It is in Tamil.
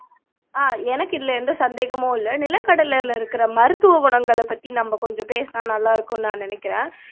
ஆஹ் எனக்கு இதுல எந்த சந்தேகமும் இல்லை நிலக்கடலையில இருக்கிற மருத்துவ குணங்களை பத்தி நம்ம கொஞ்சம் பேசுனா நல்லா இருக்கும்னு நான் நினைக்கிறேன்